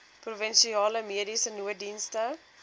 provinsiale mediese nooddienste